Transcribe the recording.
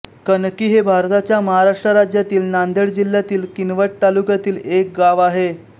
कणकी हे भारताच्या महाराष्ट्र राज्यातील नांदेड जिल्ह्यातील किनवट तालुक्यातील एक गाव आहे